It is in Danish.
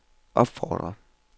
opfordrer